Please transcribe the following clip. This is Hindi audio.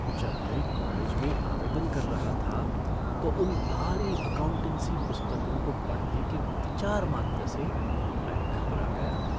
जब मैं कॉलेज में आवेदन कर रहा था तो उन भारी अकाउंटेंसी पुस्तकों को पढ़ने के विचार मात्र से मैं घबरा गया।